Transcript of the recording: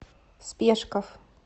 спешков